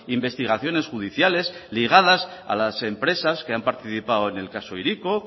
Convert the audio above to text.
investigaciones judiciales ligadas a las empresas que han participado en el caso hiriko